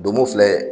Donmo filɛ